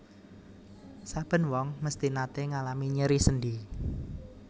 Saben wong mesthi naté ngalami nyeri sendhi